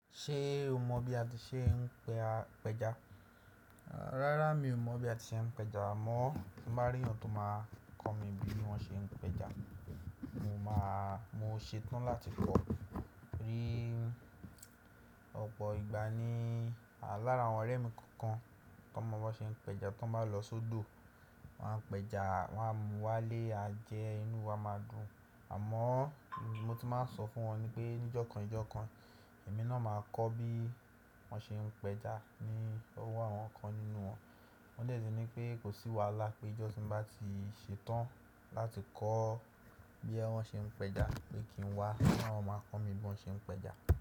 Ṣé o mọ bí a ti ṣe ń pẹja? Rárá mi ò mọ̀ bí a ti ṣe ń pẹja, àmọ́ tí mo bá rí ẹnì tó máa kọ́ mi bí wọ́n ṣe ń pẹja, mo máa, mo ṣetán láti kọ́. Ni, ọ̀pọ̀ ìgbà ní lára àwọn ọ̀rẹ́ mi kọ̀ọ̀kan tó mọ bí wọ́n ṣe ń pẹja tó bá lọ sódò, wọ́n á pẹja, wọ́n á mú wá lé a jẹ, inú wa máa dùn. Àmọ́ mo ti máa ń sọ fún wọn ni pé níjọ̀kan níjọ̀kan èmi náà máa kọ́ bí wọ́n ṣe ń pẹja ni ọwọ́ àwọn kan nínú wọn. Wọ́n dè tì ní pé kò sí wàhálà pé ijọ́ tí mo bá ti ṣetán láti kọ́ boya bi wọn ṣe ń pẹja pé kí n wá, tí wọ́n máa kọ́ mi bí wọ́n ṣe ń pẹja.